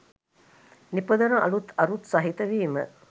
නිපදවන අලුත් අරුත් සහිත වීම.